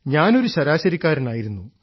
ഞാൻ ഒരു ശരാശരിക്കാരനായിരുന്നു